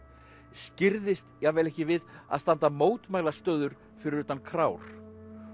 skirrðist jafnvel ekki við að standa fyrir utan krár